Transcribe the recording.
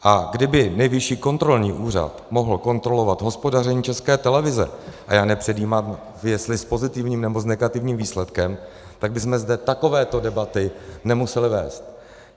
A kdyby Nejvyšší kontrolní úřad mohl kontrolovat hospodaření České televize - a já nepředjímám, jestli s pozitivním, nebo s negativním výsledkem - tak bychom zde takovéto debaty nemuseli vést.